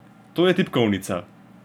To je tipkovnica.